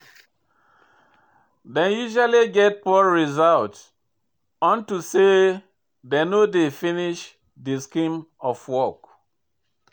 Dem usually get poor result unto say dem no dey finish de scheme of work.